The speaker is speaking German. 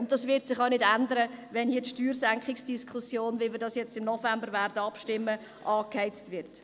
Dies wird sich nicht ändern, wenn die Steuersenkungsdiskussion im Hinblick auf die Abstimmung vom November angeheizt wird.